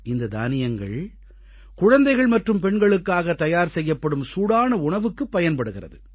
இந்த தானியங்கள் குழந்தைகள் மற்றும் பெண்களுக்காக தயார் செய்யப்படும் சூடான உணவுக்குப் பயன்படுகிறது